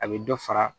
A bɛ dɔ fara